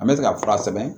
An bɛ se ka fura sɛbɛn